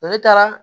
Ne taara